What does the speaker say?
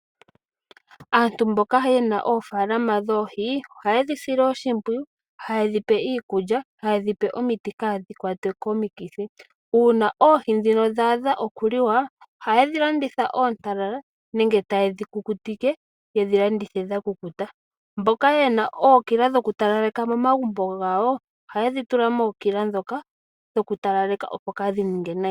Aantu mboka ye na oofaalama dhoohi ohaye dhi sile oshimpwiyu, haye dhi pe iikulya nohaye dhi pe omiti kaadhi kwatwe komikithi. Uuna oohi ndhino dha adha okuliwa, ohaye dhi landitha oontalala nenge taye dhi kukutike ye dhi landithe dha kukuta. Mboka ye na ookila dhokutalaleka momagumbo gawo ohaye dhi tula mookila ndhoka dhokutalaleka, opo kaa dhi ninge nayi.